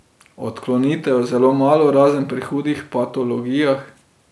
Odklonitev je zelo malo razen pri hudih patologijah.